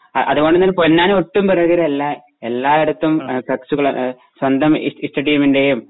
ആ അതുകൊണ്ടു തന്നെ പൊന്നാനി ഒട്ടും പുറകിലല്ല എല്ലായിടത്തും ഫ്ലകുസ്‌കാള സ്വന്തം ഇഷ്ട ടീമിന്റെയും